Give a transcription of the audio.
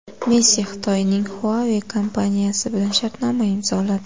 Messi Xitoyning Huawei kompaniyasi bilan shartnoma imzoladi.